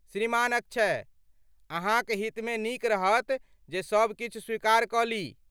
श्रीमान अक्षय, अहाँक हितमे नीक रहत जे सब किछु स्वीकार कऽ ली।